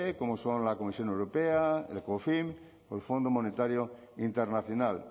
como son la comisión europea el o el fondo monetario internacional